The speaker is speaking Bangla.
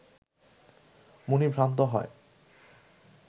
মুনি ভ্রান্ত হয়